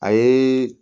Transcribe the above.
A ye